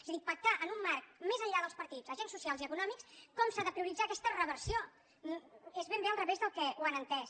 és a dir pac·tar en un marc més enllà dels partits agents socials i econòmics com s’ha de prioritzar aquesta reversió és ben bé al revés del que han entès